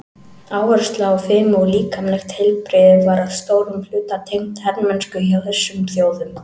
Áhersla á fimi og líkamlegt heilbrigði var að stórum hluta tengt hermennsku hjá þessum þjóðum.